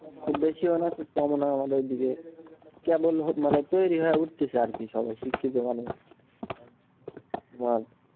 খুব বেশিও না খুব কমও না, আমাদের ওইদিকে। কেবল মানে তৈরি হয়ে উঠতেছে আর কি সবাই শিক্ষিত ভালোই আচ্ছা।